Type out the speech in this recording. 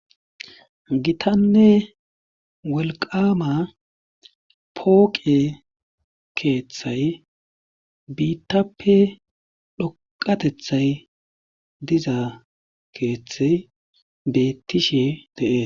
gitanne wolqama pooqe keeththay biittappe dhoqatethay diza keeththe bettishe dee